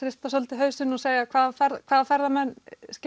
hrista svolítið hausinn og segja hvaða hvaða ferðamenn